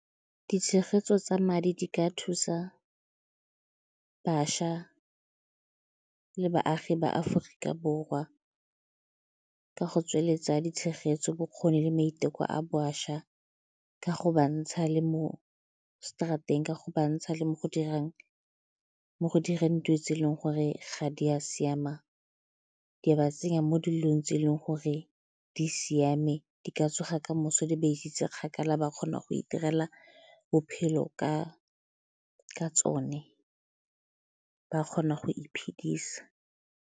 Ditshegetso tsa madi di ka thusa bašwa le baagi ba Aforika Borwa ka go tsweletsa ditshegetso, bokgoni le maiteko a bašwa ka go ba ntsha le mo straat-eng, ka go bantsha le mo go direng dilo tse e leng gore ga di a siama, di a ba tsenya mo dilong tse e leng gore di siame di ka tsoga ka moso di ba isitse kgakala ba kgona go itirela bophelo ka tsone ba kgona go iphedisa.